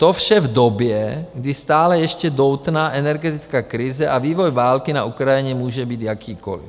To vše v době, kdy stále ještě doutná energetická krize a vývoj války na Ukrajině může být jakýkoliv.